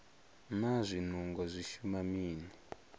naa zwinungo zwi shuma hani